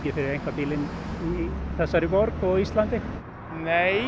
fyrir einkabílinn í þessari borg og á Íslandi nei